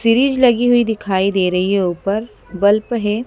Series लगी हुई दिखाई दे रही है ऊपर बल्ब है।